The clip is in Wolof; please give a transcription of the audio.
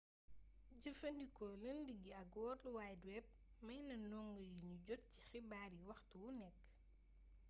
jëfandikoo lënd gi ak world wide web may na ndongo yi ñu jot ci xibaar yi waxtu wu nekk